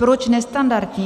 Proč nestandardní?